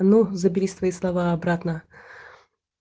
ну забери свои слова обратно